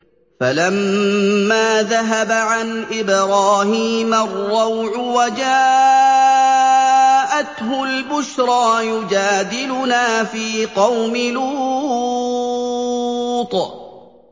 فَلَمَّا ذَهَبَ عَنْ إِبْرَاهِيمَ الرَّوْعُ وَجَاءَتْهُ الْبُشْرَىٰ يُجَادِلُنَا فِي قَوْمِ لُوطٍ